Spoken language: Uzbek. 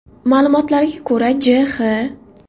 Ma’lumotlarga ko‘ra, J.X.